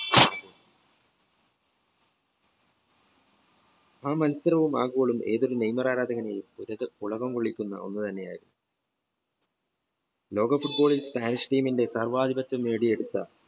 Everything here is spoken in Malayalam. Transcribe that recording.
ആ മത്സരം ആ goal ഏതൊരു നെയ്മർ ആരാധകരെ പുളകം കൊള്ളിക്കുന്ന ഒന്നു തന്നെയായിരുന്നു ലോക football ന്റെ സ്പാനിഷ് team ന്റെ സർവാധിപത്യം നേടിയെടുത്ത